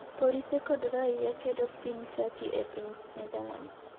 Polise kod raia kedo Piny Turkey e Piny Netherlands